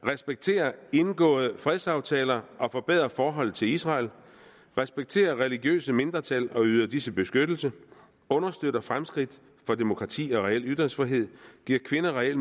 respekterer indgåede fredsaftaler og forbedrer forholdet til israel respekterer religiøse mindretal og yder disse beskyttelse understøtter fremskridt for demokrati og reel ytringsfrihed giver kvinder reel